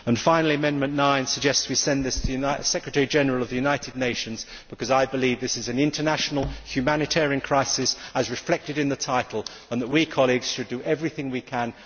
Finally, Amendment 9 suggests we send this resolution to the Secretary General of the United Nations because I believe that this is an international humanitarian crisis, as reflected in the title, and that we should do everything we